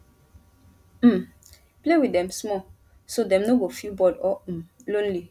um play with dem small so dem no go feel bored or um lonely